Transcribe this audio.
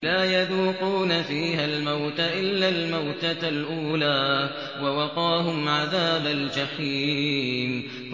لَا يَذُوقُونَ فِيهَا الْمَوْتَ إِلَّا الْمَوْتَةَ الْأُولَىٰ ۖ وَوَقَاهُمْ عَذَابَ الْجَحِيمِ